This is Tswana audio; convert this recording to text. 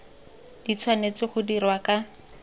di tshwanetse go dirwa ka